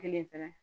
Kelen fɛnɛ